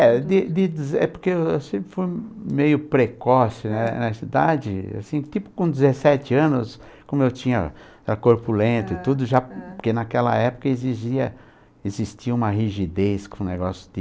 É, de deze é porque eu sempre fui meio precoce, né, nessa idade, assim, tipo com dezessete anos, como eu tinha, era corpulento e tudo, aham, porque naquela época exigia, existia uma rigidez, um negócio de...